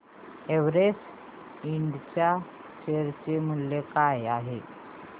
Everest Ind च्या share चे मूल्य काय आहे